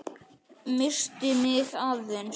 Missti mig aðeins.